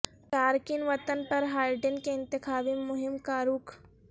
تارکین وطن پر بائیڈن کے انتخابی مہم کا رخ